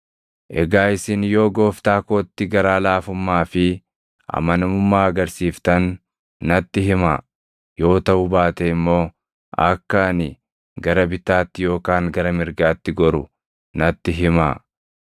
Egaa isin yoo gooftaa kootti garaa laafummaa fi amanamummaa argisiiftan natti himaa; yoo taʼuu baate immoo akka ani gara bitaatti yookaan gara mirgaatti goru natti himaa.”